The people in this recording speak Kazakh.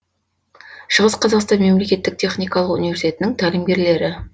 шығыс қазақстан мемлекеттік техникалық университетінің тәлімгерлері